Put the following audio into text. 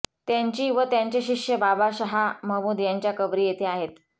त्यांची व त्यांचे शिष्य बाबा शहा महमूद यांच्या कबरी येथे आहेत